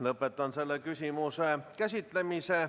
Lõpetan selle küsimuse käsitlemise.